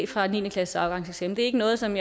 fra niende klasses afgangseksamen det er ikke noget som